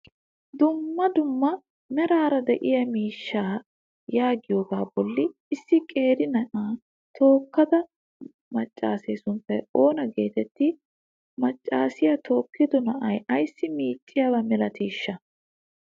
duummaa duummaa meraara de7iya miishshaa yeegiyogaa bollan issi qeeri naa7a tokkida maccase sunttay oona geteetti? macaasiya tookido naa7a aysi micciyaaba milatiishsha?